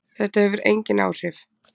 Þetta hefur engin áhrif